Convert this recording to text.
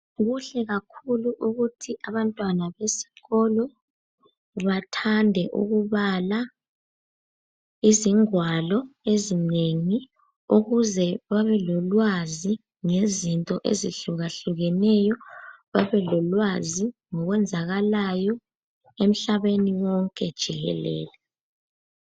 Kuhle kakhulu ukuthi abantwana besikolo bathande ukubala izingwalo ezinengi ukuze babelolwazi ngezinto ezihlukahlukaneyo, babelolwazi ngokwenzakalayo emhlabeni wonke jikelele.